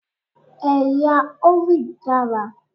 Ẹ̀yà Hovid dára.